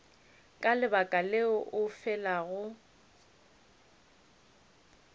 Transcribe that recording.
ka lebaka leo o felago